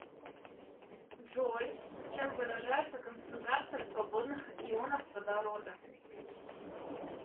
джой чем выражается концентрация свободных ионов водорода